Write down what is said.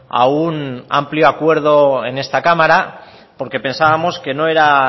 a un amplio acuerdo en esta cámara porque pensábamos que no era